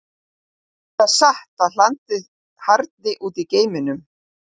Er það satt að hlandið harðni út í geimnum?